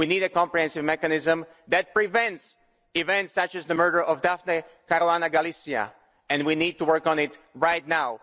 We need a comprehensive mechanism that prevents events such as the murder of Daphne Caruana Galizia, and we need to work on it right now.